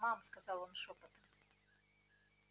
мам сказал он шёпотом